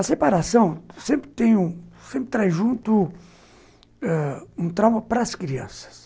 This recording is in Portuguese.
A separação sempre traz junto um trauma para as crianças.